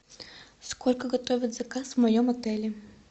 сколько готовят заказ в моем отеле